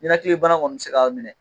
Ninakilibana kɔni bɛ se k'a minɛ.